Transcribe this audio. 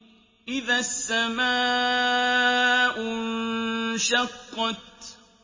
إِذَا السَّمَاءُ انشَقَّتْ